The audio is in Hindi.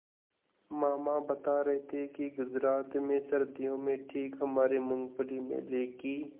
मामा बता रहे थे कि गुजरात में सर्दियों में ठीक हमारे मूँगफली मेले की